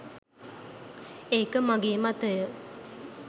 ඒක මගේ මතය.